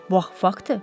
Bu axı faktdır.